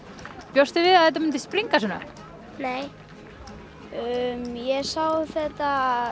bjóstu við að þetta myndi springa svona nei ég sá að þetta